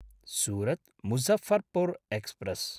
सुरत्–मुझफ्फर्पुर् express